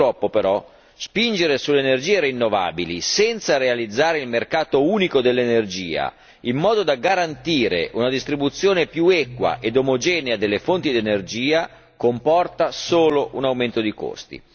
Purtroppo però, spingere sulle energie rinnovabili senza realizzare il mercato unico dell'energia, in modo da garantire una distribuzione più equa ed omogenea delle fonti di energia comporta solo un aumento dei costi.